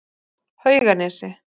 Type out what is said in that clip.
Hauganesi